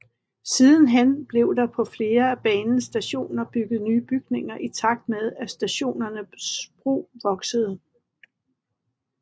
Sidenhen blev der på flere af banens stationer bygget nye bygninger i takt med at stationernes brug voksede